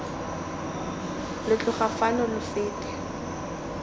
lo tloga fano lo fete